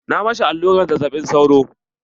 Na ma shi allurar zazzaɓin sauro.